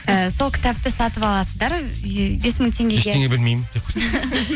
і сол кітапты сатып аласыздар бес мың теңге ештеңе білмеймін